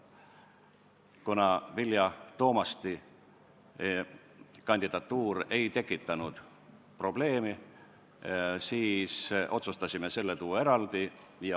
Kuna Vilja Toomasti kandidatuur ei tekitanud probleemi, siis otsustasime selle tuua saali eraldi.